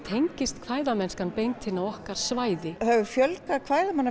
tengist beint inn á okkar svæði það hefur fjölgað